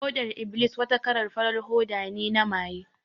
Hodar iblis wata kalan farar hoda ne na maye